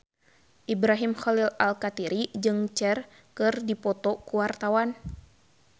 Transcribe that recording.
Ibrahim Khalil Alkatiri jeung Cher keur dipoto ku wartawan